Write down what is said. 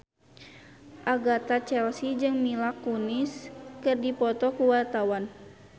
Agatha Chelsea jeung Mila Kunis keur dipoto ku wartawan